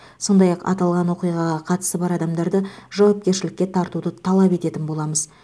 сондай ақ аталған оқиғаға қатысы бар адамдарды жауапкершілікке тартуды талап ететін боламыз